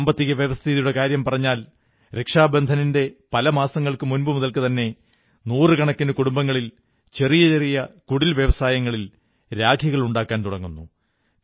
സാമ്പത്തിക വ്യവസ്ഥിതിയുടെ കാര്യം പറഞ്ഞാൽ രക്ഷാബന്ധനിന്റെ പല മാസങ്ങൾക്കു മുമ്പു മുതൽതന്നെ നൂറുകണക്കിന് കുടുംബങ്ങളിൽ ചെറിയ ചെറിയ കുടിൽവ്യവസായങ്ങളിൽ രാഖികളുണ്ടാക്കാൻ തുടങ്ങുന്നു